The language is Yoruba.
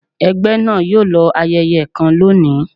ẹgbẹ náà yoo lọ ayẹyẹ kan lóni